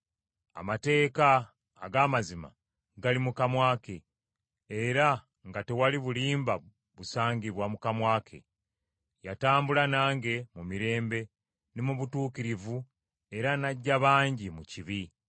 Amateeka ag’amazima gali mu kamwa ke era nga tewali bulimba busangibwa mu kamwa ke. Yatambula nange mu mirembe ne mu butuukirivu era n’aggya bangi mu kibi.